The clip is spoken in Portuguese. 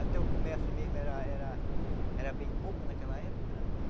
Até o começo mesmo era era era bem pouco naquela época.